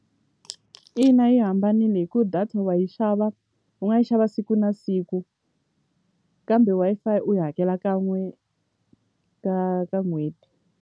Ina yi hambanile hi ku data wa yi xava u nga yi xava siku na siku kambe Wi-Fi u yi hakela kan'we ka ka n'hweti.